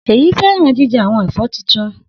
Seyi fẹràn jijẹ awọn ẹfọ titun.